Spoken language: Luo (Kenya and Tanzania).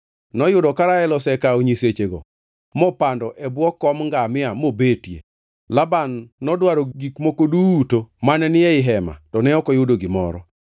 Noyudo ka Rael osekawo nyisechego mopando e bwo kom ngamia mobetie. Laban nodwaro gik moko duto mane ni ei hema to ne ok oyudo gimoro.